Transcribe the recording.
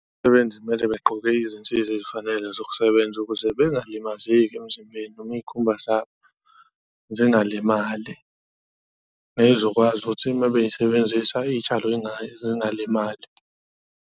Kumele begqoke izinsiza ezifanele zokusebenza ukuze bengalimazeki emzimbeni noma iy'khumba zabo zingalimali. Ey'zokwazi ukuthi uma beyisebenzisa iy'tshalo nazo zingalimali.